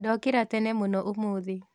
Ndokĩra tene mũno ũmũthĩ